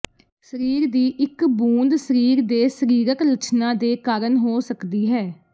ਸਰੀਰ ਦੀ ਇੱਕ ਬੂੰਦ ਸਰੀਰ ਦੇ ਸਰੀਰਕ ਲੱਛਣਾਂ ਦੇ ਕਾਰਨ ਹੋ ਸਕਦੀ ਹੈ